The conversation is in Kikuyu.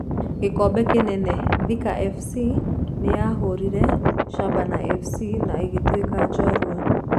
(Gikombe kinene)Thika fc nĩyahũrire Shabana fc na ĩgĩtũika njorua.